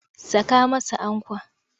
Saka masa ankwa!